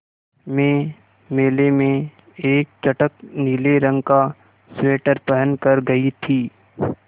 मैं मेले में एक चटख नीले रंग का स्वेटर पहन कर गयी थी